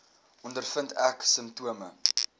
ondervind ek simptome